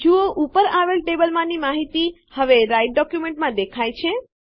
જુઓ ઉપર આવેલ ટેબલમાંની માહિતી હવે રાઈટર ડોક્યુંમેંટમાં દેખાય છે